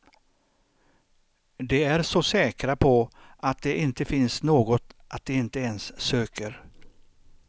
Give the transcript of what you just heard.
De är så säkra på att det inte finns något att de inte ens söker.